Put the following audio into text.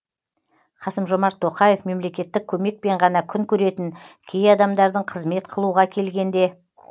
қасым жомарт тоқаев мемлекеттік көмекпен ғана күн көретін кей адамдардың қызмет қылуға келгенде